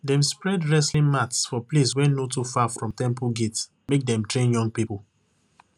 dem spread wrestling mats for place wey no too far from temple gate make dem train young people